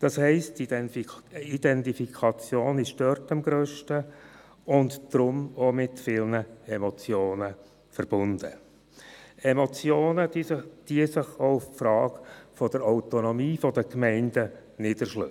Das heisst, die Identifikation ist dort am grössten und damit auch mit vielen Emotionen verbunden – Emotionen, die sich auch auf die Frage der Autonomie der Gemeinden niederschlagen.